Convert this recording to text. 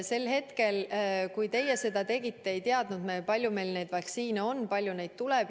Sel hetkel, kui teie seda kava tegite, ei teadnud me, kui palju meile neid vaktsiine tuleb.